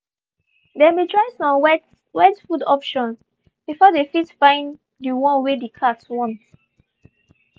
they been try some wet wet food option before they fit fine the one wey the cat want.